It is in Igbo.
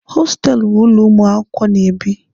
Hostelụ bụ ụlọ ụmụ akwụkwọ na-ebi.